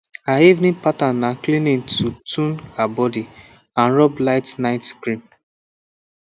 her evening pattern na cleaning to tone her body and rub light night cream